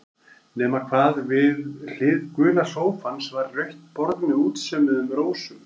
Nema hvað, við hlið gula sófans var rautt borð með útsaumuðum rósum.